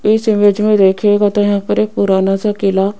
इस इमेज में देखिएगा तो यहां पर एक पुराना सा किला --